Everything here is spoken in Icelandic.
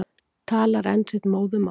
Talar enn sitt móðurmál.